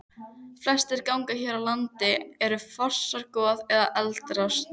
Flestir gangar hér á landi eru fornar gos- eða eldrásir.